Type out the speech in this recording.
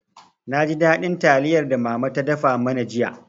Na ji daɗin taliyar da mama ta dafa mana jiya.